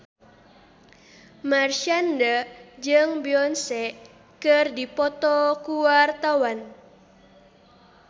Marshanda jeung Beyonce keur dipoto ku wartawan